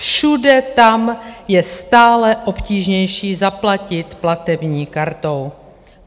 Všude tam je stále obtížnější zaplatit platební kartou.